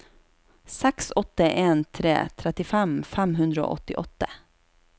seks åtte en tre trettifem fem hundre og åttiåtte